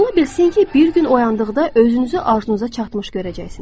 Ola bilsin ki, bir gün oyandıqda özünüzü arzunuza çatmış görəcəksiniz.